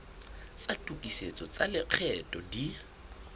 tsa tokisetso tsa lekgetho di